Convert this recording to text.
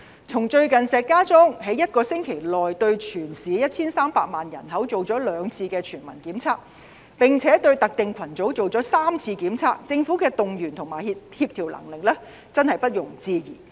從最近石家莊一星期內對全市 1,300 萬人口進行過兩次全民檢測，並且對特定群組進行過3次檢測，政府動員和協調能力真的不容置疑。